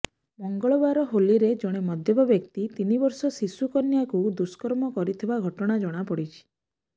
ମଙ୍ଗଳବାର ହୋଲିରେ ଜଣେ ମଦ୍ୟପ ବ୍ୟକ୍ତି ତିନି ବର୍ଷର ଶିଶୁକନ୍ୟାକୁ ଦୁଷ୍କର୍ମ କରିଥିବା ଘଟଣା ଜଣାପଡିଛି